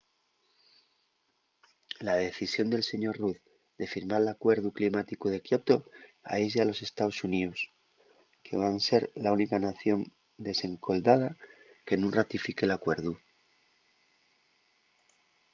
la decisión del sr. rudd de firmar l’alcuerdu climáticu de kyoto aislla a los estaos xuníos que van ser la única nación desendolcada que nun ratifique l’alcuerdu